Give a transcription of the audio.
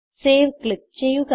save click ചെയ്യുക